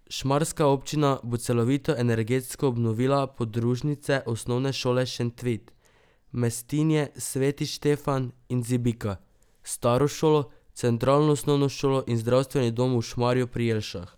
Šmarska občina bo celovito energetsko obnovila podružnične osnovne šole Šentvid, Mestinje, Sveti Štefan in Zibika, staro šolo, centralno osnovno šolo in zdravstveni dom v Šmarju pri Jelšah.